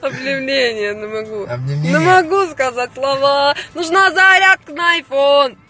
аа